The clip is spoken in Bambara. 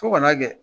Fo kana kɛ